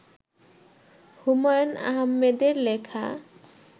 হুমায়ূন আহমেদের লেখা